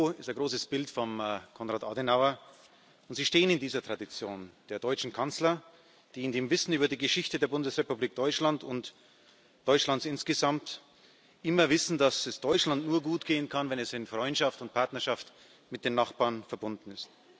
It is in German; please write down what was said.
Bei Ihnen im Büro ist ein großes Bild von Konrad Adenauer, und Sie stehen in dieser Tradition der deutschen Kanzler, die in dem Wissen über die Geschichte der Bundesrepublik Deutschland und Deutschlands insgesamt immer wissen, dass es Deutschland nur gut gehen kann, wenn es in Freundschaft und Partnerschaft mit den Nachbarn verbunden ist.